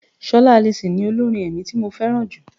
Ṣọlá Alison ni olórin ẹ̀mí tí mo fẹ́ràn jù.